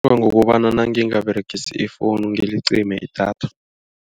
Ngokobana nangingaberegisi ifowuni ngilicime idatha.